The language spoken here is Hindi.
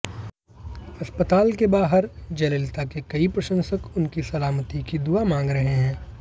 अस्पताल के बाहर जयललिता के कई प्रशंसक उनकी सलामती की दुआ मांग रहे हैं